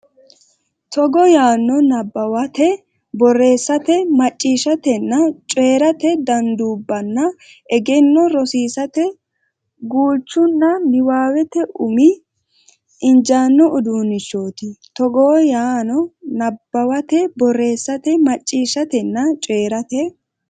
Togo yaano Nabbawate borreessate macciishshatenna coyi rate danduubbanna egenno rosiisate guulchunna niwaawete umi injaawa udiinnichooti Togo yaano Nabbawate borreessate macciishshatenna coyi rate.